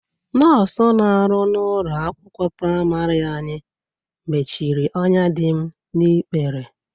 Nọs na-arụ n'ụlọ akwụkwọ prịmarị anyị mechiri ọnya dị m n'ikpere.